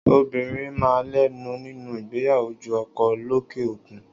Obìnrin máa ń lẹ́nu nínú ìgbéyàwó ju ọkọ lọ lókè òkun.